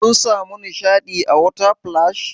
Kun samu nishaɗi a water splash?